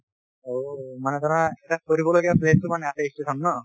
ঔ মানে ধৰা আছে station ন